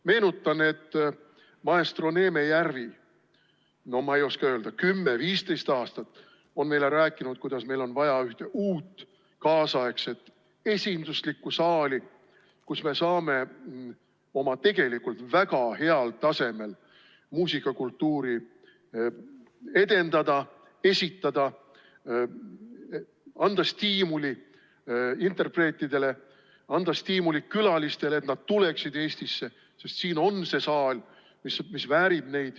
Meenutan, et maestro Neeme Järvi on, ma ei oska täpselt öelda, kümme-viisteist aastat meile rääkinud, kuidas meile on vaja uut, kaasaegset, esinduslikku saali, kus me saame oma tegelikult väga heal tasemel muusikakultuuri edendada, muusikat esitada, anda stiimulit interpreetidele, anda stiimulit külalistele, et nad tuleksid Eestisse, sest siin on saal, mis neid väärib.